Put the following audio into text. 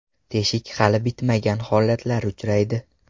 Teshik hali bitmagan holatlari uchraydi.